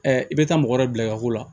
i bɛ taa mɔgɔ dɔ bila i ka ko la